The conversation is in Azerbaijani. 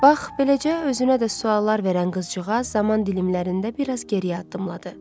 Bax, beləcə özünə də suallar verən qızcığaz zaman dilimlərində biraz geriyə addımladı.